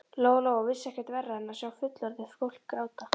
Lóa Lóa vissi ekkert verra en að sjá fullorðið fólk gráta.